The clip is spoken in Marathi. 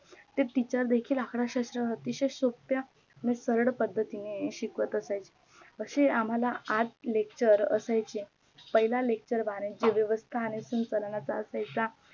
ते TEACHER देखील अर्थशास्त्र अतिशय सोप्या आणि साध्या पद्धतीने शिकवत असायच्या असे आम्हाला आठ lecture असायचे पहिल्या lecture वाणिज्य व्यवस्था आणि संचालनाचा असायचा